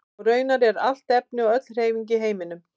Og raunar allt efni og öll hreyfing í heiminum.